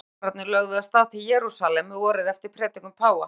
Fyrstu krossfararnir lögðu af stað til Jerúsalem vorið eftir predikun páfa.